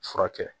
Furakɛ